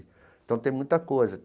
Então, tem muita coisa.